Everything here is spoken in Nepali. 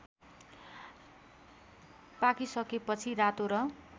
पाकिसकेपछि रातो र